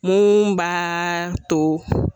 Mun b'a to